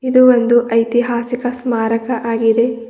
ಇದು ಒಂದು ಐತಿಹಾಸಿಕ ಸ್ಮಾರಕ ಆಗಿದೆ.